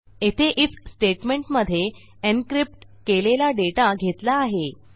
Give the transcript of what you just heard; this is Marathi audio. येथे आयएफ स्टेटमेंटमधे एन्क्रिप्ट केलेला डेटा घेतला आहे